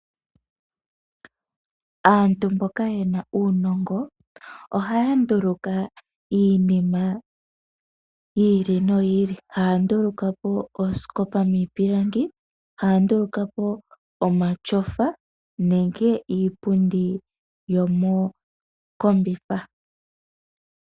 Aantu mboka ye na uunongo ohaya nduluka iinima yi ili noyi ili. Haa nduluka po oosikopa miipilangi, haa nduluka po omatyofa nenge iipundi yomokombitha.